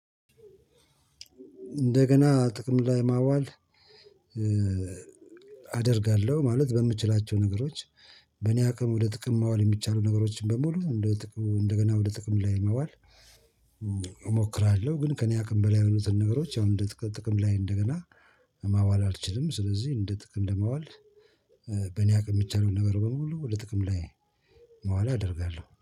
እንደገና ጥቅም ላይ ማዋል። አደርጋለሁ ማለት በምችላቸው ነገሮች በእኔ አቅም ወደ ጥቅም ማዋል የሚቻሉ ነገሮችን በሙሉ እንደገና ወደ ጥቅም ላይ ማዋል። እሞክራለሁ ግን ከእኔ አቅም በላይ የሆኑትን ነገሮች አሁን እንደ ጥቅል ጥቅም ላይ እንደገና ማዋል አልችልም። ስለዚህ እንደ ጥቅም ለማዋል በእኔ አቅም ሚቻለውን ነገር በሙሉ ወደ ጥቅም ላይ ማዋል አደርጋለሁ።